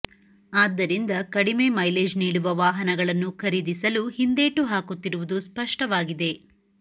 ಆದ್ದರಿಂದ ಕಡಿಮೆ ಮೈಲೇಜ್ ನೀಡುವ ವಾಹನಗಳನ್ನು ಖರೀದಿಸಲು ಹಿಂದೇಟು ಹಾಕುತ್ತಿರುವುದು ಸ್ಪಷ್ಟವಾಗಿದೆ